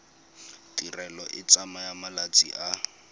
tirelo e tsaya malatsi a